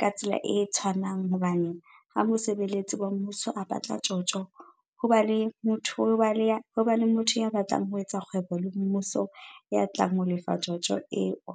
ka tsela e tshwanang hobane ha mosebeletsi wa mmuso a batla tjotjo, ho ba le motho ya batlang ho etsa kgwebo le mmuso ya tlang ho lefa tjotjo eo.